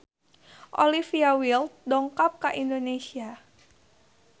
Olivia Wilde dongkap ka Indonesia